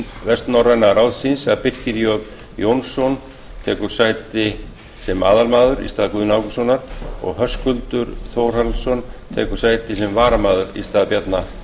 vestnorræna ráðsins að birkir j jónsson tekur sæti sem aðalmaður í stað guðna ágústssonar og höskuldur þórhallsson tekur sæti sem varamaður í stað bjarna